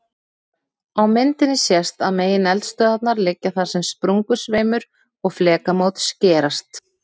Á myndinni sést að megineldstöðvarnar liggja þar sem sprungusveimur og flekamót skerast.